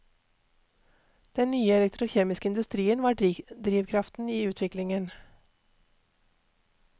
Den nye elektrokjemiske industrien var drivkraften i utviklingen.